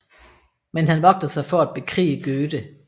Men han vogtede sig for at bekrige Goethe